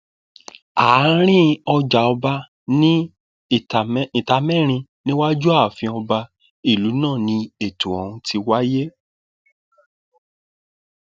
àárín ọjàọba ní ìtàmẹrin níwájú ààfin ọba ìlú náà ni ètò ọhún ti wáyé